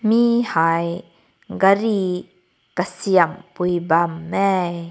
meh hai gari kasem pui bam meh.